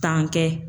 Tan kɛ